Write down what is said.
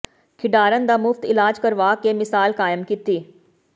ਖਿਡਾਰਨ ਦਾ ਮੁਫ਼ਤ ਇਲਾਜ ਕਰਵਾ ਕੇ ਮਿਸਾਲ ਕਾਇਮ ਕੀਤੀ